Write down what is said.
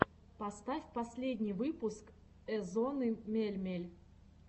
поставь последний выпуск эзонны мельмель